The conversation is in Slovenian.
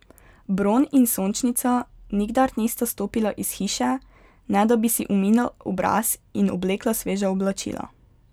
Bron in Sončnica nikdar nista stopila iz hiše, ne da bi si umila obraz in oblekla sveža oblačila.